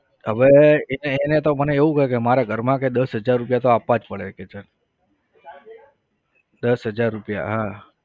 હવે એ એને તો મને એવું કહ્યું કે મારા ઘરમાં કે દસ હજાર રૂપિયા તો આપવા જ પડે કે છે દસ હજાર રૂપિયા હા